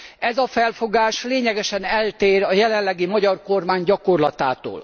Ez a felfogás lényegesen eltér a jelenlegi magyar kormány gyakorlatától.